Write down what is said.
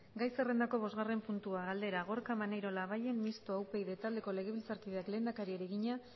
gai zerrendako bosgarren puntua galdera gorka maneiro labayen mistoa upyd taldeko legebiltzarkideak lehendakariari egina